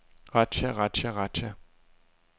razzia razzia razzia